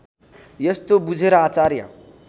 यस्तो बुझेर आचार्य